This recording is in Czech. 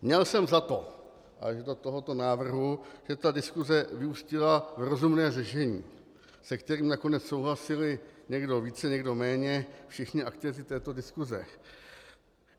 Měl jsem za to až do tohoto návrhu, že ta diskuse vyústila v rozumné řešení, se kterým nakonec souhlasili, někdo více, někdo méně, všichni aktéři této diskuse.